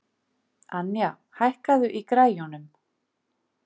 Anja, hækkaðu í græjunum.